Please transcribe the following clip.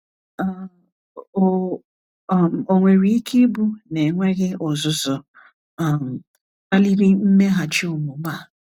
um Ò um nwere ike ịbụ na enweghị ọzụzụ um kpaliri mmeghachi omume a?